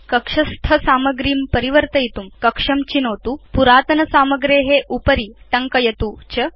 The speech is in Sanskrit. कक्षस्थ सामग्रीं परिवर्तयितुं कक्षं चिनोतु पुरातन सामग्रे उपरि टङ्कयतु च